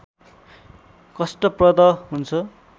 कष्टप्रद हुन्छ